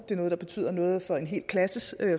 det noget der betyder noget for en hel klasses